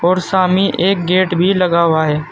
और सामने एक गेट भी लगा हुआ है।